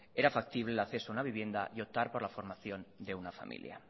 era factible el acceso a una vivienda y optar por la formación de una familia